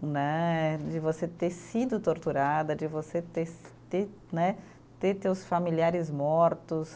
né, de você ter sido torturada, de você ter se, ter né, ter teus familiares mortos.